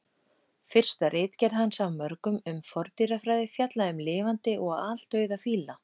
Fyrsta ritgerð hans af mörgum um forndýrafræði fjallaði um lifandi og aldauða fíla.